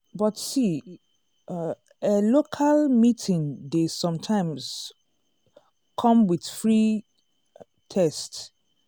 but see um eh local meeting dey sometimes um come with free um test.